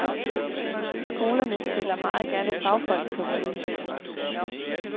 Skolerne stiller meget gerne fagfolk til rådighed.